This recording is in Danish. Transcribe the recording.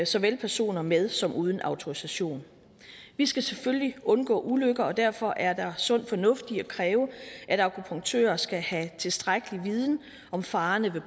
såvel personer med som personer uden autorisation vi skal selvfølgelig undgå ulykker og derfor er der sund fornuft i at kræve at akupunktører skal have tilstrækkelig viden om farerne ved